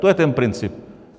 To je ten princip.